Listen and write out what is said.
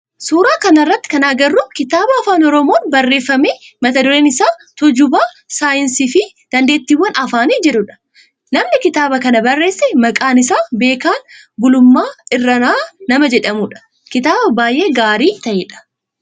Suuraa kana irratti kan agarru kitaaba afaan oromoon barreeffame mata dureen isaa Tuujuba saayinsii fi dandeettiwwan afaani jedhudha. Namni kitaaba kana barreesse maqaan isaa Beekan Gulummaa Irranaa nama jadhamudha. Kitaaba baayyee gaarii ta'edha.